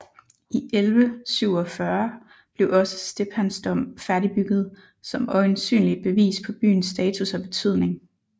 I 1147 blev også Stephansdom færdigbygget som øjensynligt bevis på byens status og betydning